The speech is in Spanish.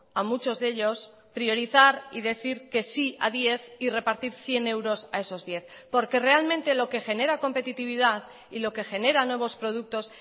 a muchos de ellos priorizar y decir que si a diez y repartir cien euros a esos diez porque realmente lo que genera competitividad y lo que genera nuevos productos